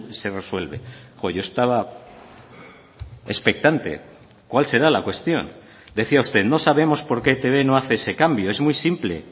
se resuelve yo estaba expectante cuál será la cuestión decía usted no sabemos por qué etb no hace ese cambio es muy simple